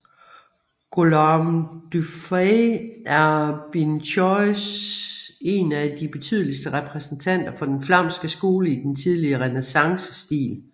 Guillaume Dufay er Binchois en af de betydeligste repræsentanter for den flamske skole i den tidlige renæssancestil